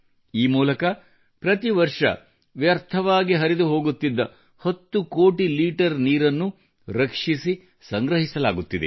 ಈ ಮೂಲಕ ಪ್ರತಿ ವರ್ಷ ವ್ಯರ್ಥವಾಗಿ ಹರಿದು ಹೋಗುತ್ತಿದ್ದ ಸರಿಸುಮಾರು 10 ಕೋಟಿ ಲೀಟರ್ ನೀರನ್ನು ರಕ್ಷಿಸಿ ಸಂಗ್ರಹಿಸಲಾಗುತ್ತಿದೆ